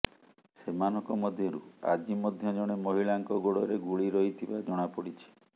ସେମାନଙ୍କ ମଧ୍ୟରୁ ଆଜି ମଧ୍ୟ ଜଣେ ମହିଳାଙ୍କ ଗୋଡରେ ଗୁଳି ରହିଥିବା ଜଣାପଡିଛି